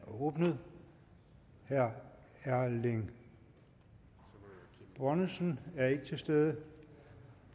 åbnet herre erling bonnesen er ikke til stede og